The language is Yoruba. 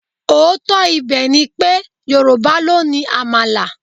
Òótọ́ ibẹ̀ ni pé, Yorùbá ló ni Àmàlà.